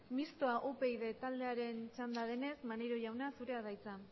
mistoa upyd taldearen txanda denez maneiro jauna zurea da hitza